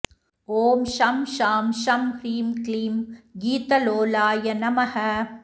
ॐ शं शां षं ह्रीं क्लीं गीतलोलाय नमः